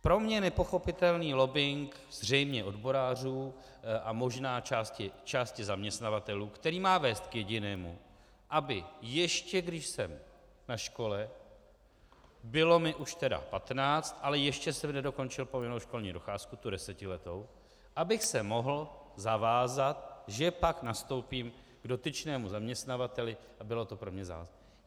Pro mě nepochopitelný lobbing zřejmě odborářů a možná části zaměstnavatelů, který má vést k jedinému, aby ještě když jsem na škole, bylo mi už tedy patnáct, ale ještě jsem nedokončil povinnou školní docházku, tu desetiletou, abych se mohl zavázat, že pak nastoupím k dotyčnému zaměstnavateli a bylo to pro mě závazné.